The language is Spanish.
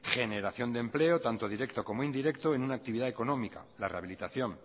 generación de empleo tanto directo como indirecto en una actividad económica la rehabilitación